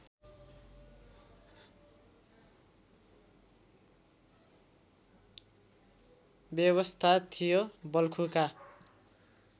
व्यवस्था थियो बल्खुका